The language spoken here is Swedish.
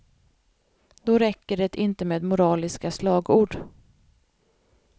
Då räcker det inte med moraliska slagord.